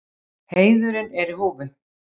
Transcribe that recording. Heiðurinn er í húfi.